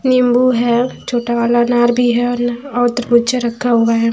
नीम्बू है छोटा वाला अनार भी है और न और तरबुज्जा रखा हुआ है।